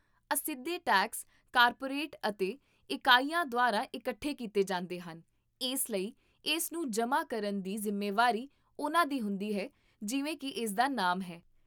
ਅਸਿੱਧੇ tax corporate ਅਤੇ ਇਕਾਈਆਂ ਦੁਆਰਾ ਇਕੱਠੇ ਕੀਤੇ ਜਾਂਦੇ ਹਨ, ਇਸ ਲਈ ਇਸ ਨੂੰ ਜਮ੍ਹਾ ਕਰਨ ਦੀ ਜ਼ਿੰਮੇਵਾਰੀ ਉਨ੍ਹਾਂ ਦੀ ਹੁੰਦੀ ਹੈ, ਜਿਵੇਂ ਕੀ ਇਸਦਾ ਨਾਮ ਹੈ